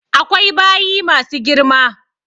Akwai bayi ma su girma.